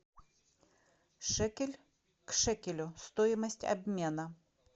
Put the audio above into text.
шекель к шекелю стоимость обмена